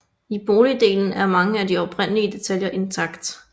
I boligdelen er mange af de oprindelige detaljer intakt